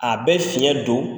A bɛ fiɲɛ don